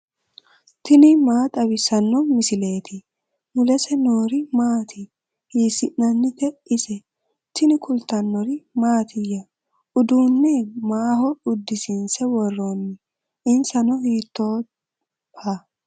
tini maa xawissanno misileeti ? mulese noori maati ? hiissinannite ise ? tini kultannori mattiya? Uduunne maaho udisiinse woroonni? insanno hiittoha?